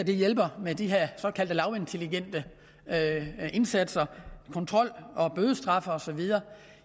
det hjælper med de her såkaldte lavintelligente indsatser kontrol og bødestraf og så videre